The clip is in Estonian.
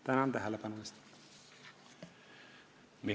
Tänan tähelepanu eest!